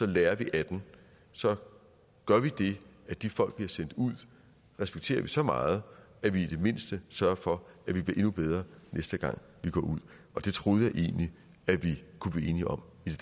lærer vi af den så gør vi det at de folk der bliver sendt ud respekterer vi så meget at vi i det mindste sørger for at vi bliver endnu bedre næste gang vi går ud og det troede jeg egentlig at vi kunne blive enige om i